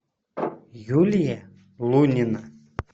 юлия лунина